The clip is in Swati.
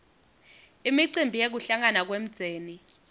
imicimbi yekuhlangana kwemdzeni